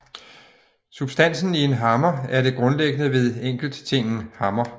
Substansen i en hammer er det grundlæggende ved enkelttingen hammer